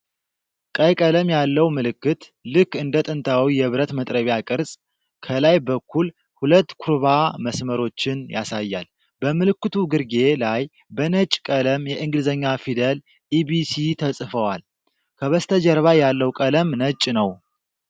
ቀይ ቀለም ያለው ምልክት፣ ልክ እንደ ጥንታዊ የብረት መጥረቢያ ቅርጽ፣ ከላይ በኩል ሁለት ኩርባ መስመሮችን ያሳያል። በምልክቱ ግርጌ ላይ በነጭ ቀለም የእንግሊዝኛ ፊደላት "EBC" ተጽፈዋል። ከበስተጀርባ ያለው ቀለም ነጭ ነው።